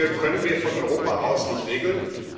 Manche Dinge können wir von Europa aus nicht regeln.